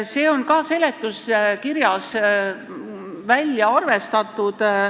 See on ka seletuskirjas välja arvestatud.